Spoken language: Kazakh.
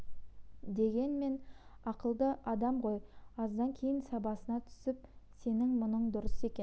дегенмен ақылды адам ғой аздан кейін сабасына түсіп сенің мұның дұрыс екен